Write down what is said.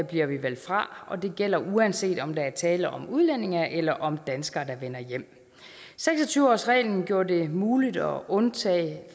bliver vi valgt fra og det gælder uanset om der er tale om udlændinge eller om danskere der vender hjem seks og tyve årsreglen gjorde det muligt at undtage